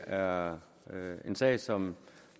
er en sag som